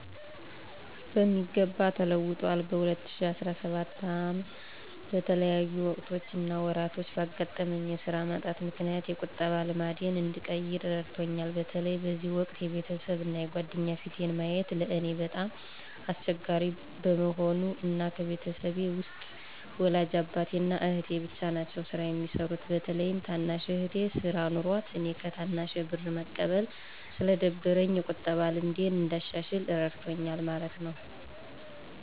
በሚገባ ተለውጠዋል። በ2017 ዓ/ም በተለያዩ ወቅቶች እና ወራቶች ባጋጠመኝ የስራ ማጣት ምክንያት የቁጠባ ልማዴን እንድቀይር እረድቶኛል። በተለይ በዚህ ወቅት የቤተሰብ እና የጓደኛ ፊትን ማየት ለእኔ በጣም አስቸጋሪ በመሆኑ እና ከቤተሰቤ ውስጥ ወላጅ አባቴ እና አህቴ ብቻ ናቸው ስራ የሚሰሩት። በተለይም ታናሽ እህቴ ስራ ኖሯት እኔ ከታናሼ ብር መቀበሉ ስለደበረኝ የቁጠባን ልምዴን እንዳሻሽል እረድቶኛል ማለት ነው።